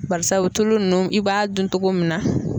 Barisabu tulu nunnu i b'a dun togo min na